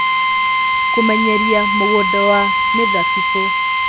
Kũmenyeria mũgũnda wa mĩthabibũ